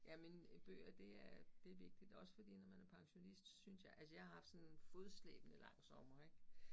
Jamen bøger det er det vigtigt, også fordi når man er pensionist, synes jeg, altså jeg har haft sådan en fodslæbende lang sommer ik